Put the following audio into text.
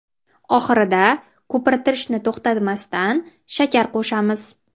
Oxirida, ko‘pirtirishni to‘xtatmasdan, shakar qo‘shamiz.